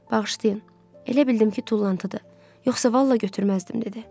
Bağışlayın, elə bildim ki, tullantıdır, yoxsa vallah götürməzdim, dedi.